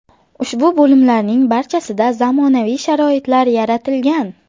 Ushbu bo‘limlarning barchasida zamonaviy sharoitlar yaratilgan.